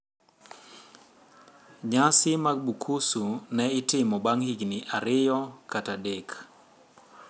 Nyasi mag Bukusu ne itimo bang` higni ariyo kata adek.